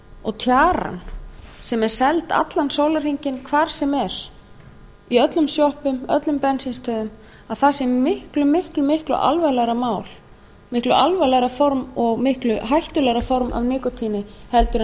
og tjaran sem er seld allan sólarhringinn hvar sem er í öllum sjoppum öllum bensínstöðvum að það sé miklu miklu miklu alvarlegra mál miklu alvarlegra form og miklu hættulegra form af nikótíni en